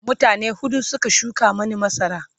mutane huɗu Suka shuka Mani masara